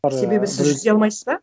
себебі сіз жүзе алмайсыз ба